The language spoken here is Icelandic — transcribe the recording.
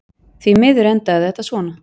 Því miður endaði þetta svona.